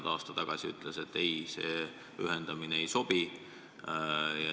Aasta tagasi me ütlesime, et see ühendamine ei sobi.